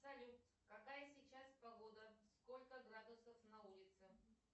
салют какая сейчас погода сколько градусов на улице